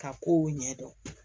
Ka kow ɲɛdɔn